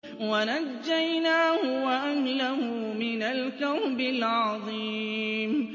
وَنَجَّيْنَاهُ وَأَهْلَهُ مِنَ الْكَرْبِ الْعَظِيمِ